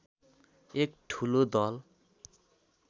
एक ठुलो दल